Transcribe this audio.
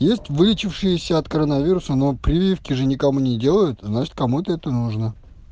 есть вылечившиеся от коронавируса но прививки же никому не делают значит кому-то это нужно